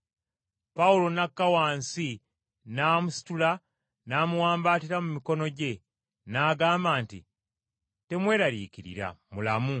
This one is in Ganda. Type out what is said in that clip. Pawulo n’akka wansi n’amusitula n’amuwambaatira mu mikono gye. N’agamba nti, “Temweraliikirira, mulamu!”